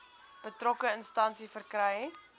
betrokke instansie verkry